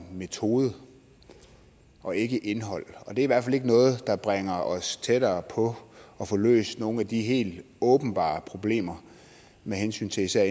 metode og ikke indhold og det er i hvert fald ikke noget der bringer os tættere på at få løst nogle af de helt åbenbare problemer med hensyn til især